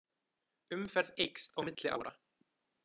Umferð eykst á milli ára